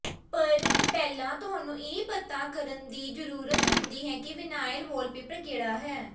ਪਰ ਪਹਿਲਾਂ ਤੁਹਾਨੂੰ ਇਹ ਪਤਾ ਕਰਨ ਦੀ ਜ਼ਰੂਰਤ ਹੁੰਦੀ ਹੈ ਕਿ ਵਿਨਾਇਲ ਵਾਲਪੇਪਰ ਕਿਹੜਾ ਹੈ